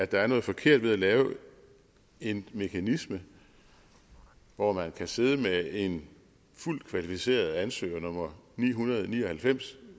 der er noget forkert ved at lave en mekanisme hvor man kan sidde med en fuldt kvalificeret ansøger nummer ni hundrede og ni og halvfems